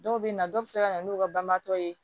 Dɔw bɛ na dɔw bɛ se ka na n'u ka balimatɔ ye